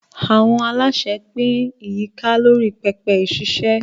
Àwọn aláṣẹ pín ìyíká lórí pẹpẹ ìṣiṣẹ́.